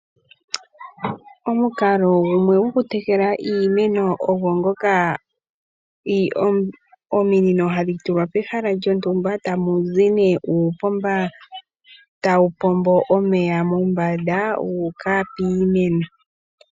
Omukalo gumwe gokutekela iimeno ogo ngoka ominino hadhi tulwa pehala lyontumba ta mu zi nee uupomba tawu pombo omeya mombanda guuka piimeno.